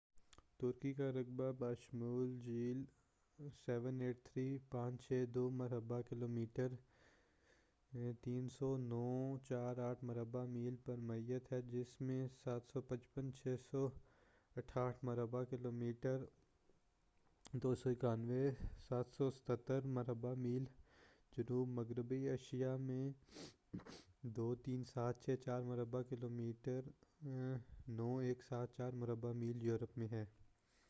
ترکی کا رقبہ بشمول جھیل، 783562 مربع کلومیٹر 300948 مربع میل پر محیط ہے، جس میں سے 755688 مربع کلومیٹر 291773 مربع میل جنوب مغربی ایشیاء میں اور 23764 مربع کلومیٹر 9174 مربع میل یورپ میں ہے۔